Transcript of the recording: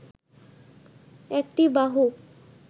একটি বাহু